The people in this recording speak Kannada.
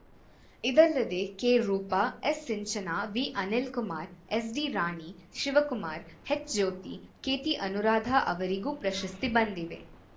ಇದಲ್ಲದೇ ಕೆರೂಪಾ ಎಸ್‌ಸಿಂಚನಾ ವಿಅನಿಲ್‌ಕುಮಾರ್‌ ಎಸ್‌ಡಿರಾಣಿ ಶಿವಕುಮಾರ್‌ ಎಚ್‌ಜ್ಯೋತಿ ಕೆಟಿಅನುರಾಧ ಅವರಿಗೂ ಪ್ರಶಸ್ತಿ ಬಂದಿವೆ